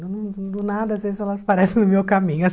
Do nada, às vezes, elas aparecem no meu caminho as